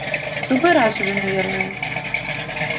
в другой раз уже наверное